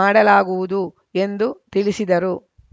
ಮಾಡಲಾಗುವುದು ಎಂದು ತಿಳಿಸಿದರು